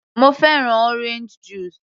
Mo fẹ́ràn orange juice